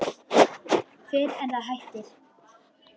Fyrr en það hættir.